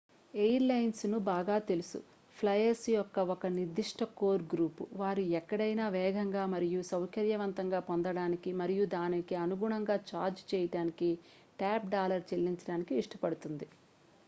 air lines కు బాగా తెలుసు ఫ్లైయర్స్ యొక్క ఒక నిర్దిష్ట కోర్ గ్రూప్ వారు ఎక్కడైనా వేగంగా మరియు సౌకర్యవంతంగా పొందడానికి మరియు దానికి అనుగుణంగా ఛార్జ్ చేయడానికి టాప్ డాలర్ చెల్లించడానికి ఇష్టపడుతుంది